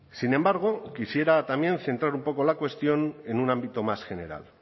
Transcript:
sin embargo quisiera también centrar un poco la cuestión en un ámbito más general